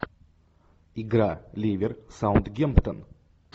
игра ливер саутгемптон